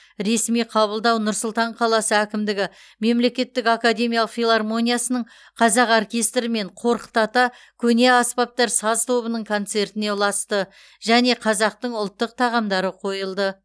ресми қабылдау нұр сұлтан қаласы әкімдігі мемлекеттік академиялық филармониясының қазақ оркестрі мен қорқыт ата көне аспаптар саз тобының концертіне ұласты және қазақтың ұлттық тағамдары қойылды